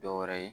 Dɔ wɛrɛ ye